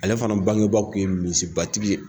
Ale fana bangebaw kun ye misibatigi ye.